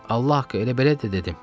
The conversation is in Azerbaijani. Allah haqqı elə belə də dedim.